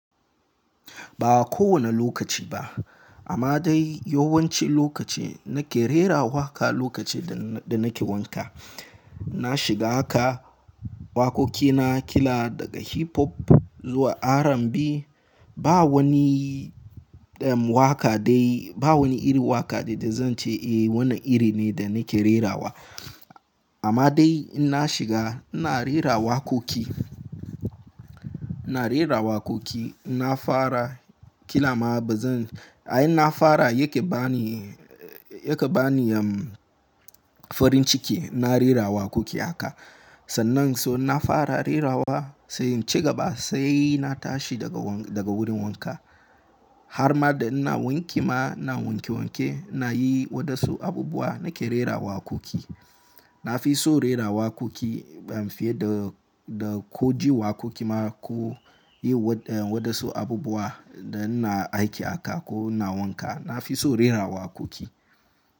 Ba kowane lokaci ba, amma dai yawanci lokaci na ke rera waƙa lokaci da, da na ke wanka. Na shiga haka waƙoƙi na kila daga hip hop zuwa R&B. Ba wani, um, waƙa dai, ba wani iri waƙa da zan ce eh wannan iri ne da na ke rerawa. Amma dai in na shiga ina rera waƙoƙi, ina rera waƙoƙi. Ina fara kila ma ba zan, ai na fara yake ba ni, yake ba ni, um, farin ciki. Ina rera waƙoƙi haka. Sannan so na fara rerawa sai in ci gaba sai na tashi daga, daga wurin wanka. Har ma da ina wanki ma, ina wanke wanke ina yi waɗansu abubuwa na ke rerawa waƙoƙi. Na fi so rera waƙoƙi ban fiye da, da ko ji waƙoƙi ma ko yi waɗansu abubuwa da ina aiki aka ko ina wanka. Na fi so rera waƙoƙi.